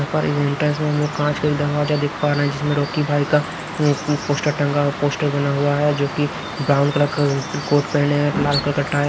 यहां पर से हम लोग कांच के दरवाजा देख पा रहे हैं जिसमें रॉकी भाई का अह अह पोस्टर टंगा पोस्टर बना हुआ है जो कि ब्राउन कलर का कोट पहने है लाल कलर का टाई --